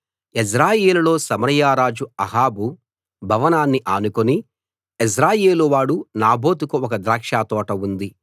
యెజ్రెయేలులో సమరయ రాజు అహాబు భవనాన్ని ఆనుకుని యెజ్రెయేలు వాడు నాబోతుకు ఒక ద్రాక్షతోట ఉంది